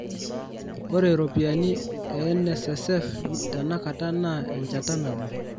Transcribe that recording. ore ropiyani e nssf tenakataa naa enchata nabo